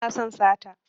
Ba na son sata